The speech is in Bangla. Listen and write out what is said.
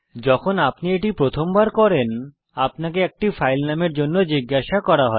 যখন আপনি এটি প্রথমবার করেন আপনাকে একটি ফাইল নামের জন্য জিজ্ঞাসা করা হয়